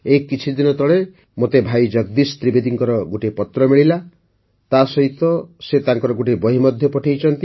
ଏଇ କିଛିଦିନ ତଳେ ମୋତେ ଭାଇ ଜଗଦୀଶ ତ୍ରିବେଦୀଙ୍କର ଗୋଟିଏ ପତ୍ର ମିଳିଲା ତାସହିତ ସେ ତାଙ୍କର ଗୋଟିଏ ବହି ମଧ୍ୟ ପଠେଇଛନ୍ତି